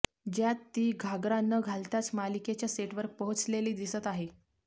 ज्यात ती घागरा न घालताच मालिकेच्या सेटवर पोहोचलेली दिसत आहे